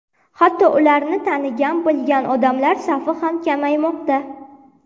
Hatto ularni tanigan, bilgan odamlar safi ham kamaymoqda.